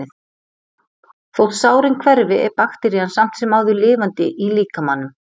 þótt sárin hverfi er bakterían samt sem áður lifandi í líkamanum